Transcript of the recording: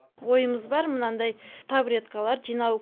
ойымыз бар мынандай табуреткалар жинау